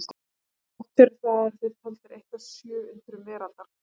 Þrátt fyrir það eru þeir taldir eitt af sjö undrum veraldar.